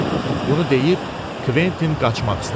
Bunu deyib, Kventin qaçmaq istədi.